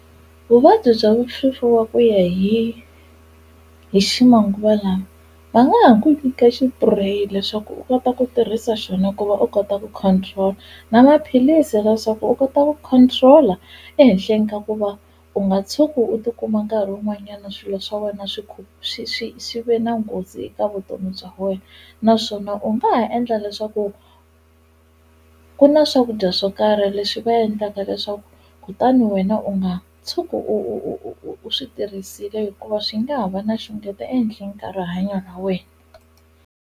Vuvabyi bya swifuva ku ya hi hi ximanguva lama va nga ha ku nyika xipureyi leswaku u kota ku tirhisa xona ku va u kota ku control-a na maphilisi leswaku u kota ku control-a ehenhleni ka ku va u nga tshuki u tikuma nkarhi wun'wanyana swilo swa wena swi swi swi swi ve na nghozi eka vutomi bya wena naswona u nga ha endla leswaku ku na swakudya swo karhi leswi va endlaka leswaku kutani wena u nga tshuki u u u u u swi tirhisile hikuva swi nga ha va na xungeta ehenhleni ka rihanyo ra wena.